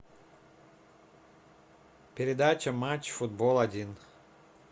передача матч футбол один